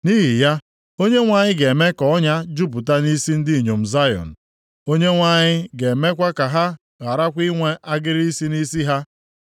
Nʼihi ya, Onyenwe anyị ga-eme ka ọnya jupụta nʼisi ndị inyom Zayọn, Onyenwe anyị ga-emekwa ka ha gharakwa inwe agịrị isi nʼisi ha.”